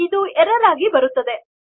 ಈಗ ಇದು ಎರ್ರರ್ ಆಗಿ ಬರುವುದು